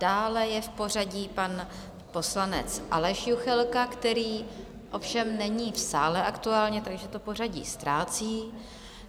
Dále je v pořadí pan poslanec Aleš Juchelka, který ovšem není v sále aktuálně, takže to pořadí ztrácí,